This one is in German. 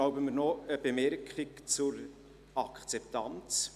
Ich erlaube mir noch eine Bemerkung zur Akzeptanz.